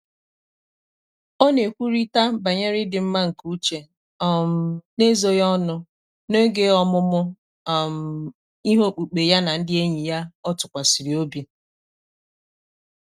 ọ́ nà-ékwúrị́tà bànyèrè ị́dị́ mmá nké úchè um n’ézóghị́ ọnụ́ n’ógè ọ́mụ́mụ́ um íhé ókpùkpé yá nà ndị́ ényì ọ́ tụ́kwàsị̀rị̀ óbí.